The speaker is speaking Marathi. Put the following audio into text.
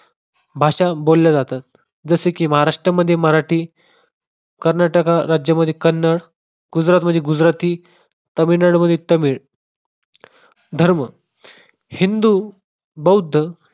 भाषा बोलल्या जातात. जसे की महाराष्ट्रामध्ये मराठी, कर्नाटक राज्यामध्ये कन्नड, गुजरातमध्ये गुजराती, तमिळनाडूमध्ये तमिळ. धर्म हिंदू, बौध्द